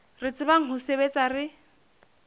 re tsebang ho sebetsa re